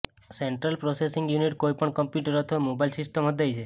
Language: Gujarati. સેન્ટ્રલ પ્રોસેસિંગ યુનિટ કોઈપણ કમ્પ્યુટર અથવા મોબાઇલ સિસ્ટમ હૃદય છે